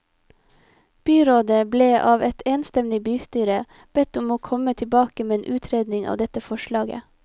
Byrådet ble av et enstemmig bystyre bedt om å komme tilbake med en utredning av dette forslaget.